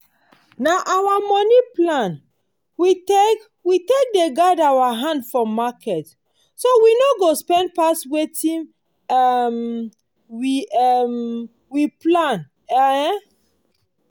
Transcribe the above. na our moni plan we take take dey guide our hand for market so we no go spend pass wetin um we um plan. um